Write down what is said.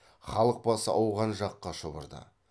халық басы ауған жаққа шұбырды